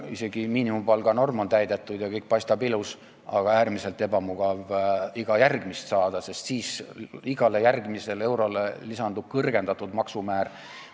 Isegi miinimumpalga norm on täidetud ja kõik paistab ilus, aga äärmiselt ebamugav on rohkem saada, sest igale järgmisele eurole lisandub kõrgendatud maksumäär.